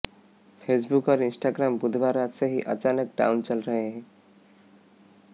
Facebook और Instagram बुधवार रात से ही अचानक डाउन चल रहे हैं